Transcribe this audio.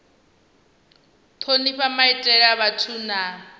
thonifha maitele a vhathu na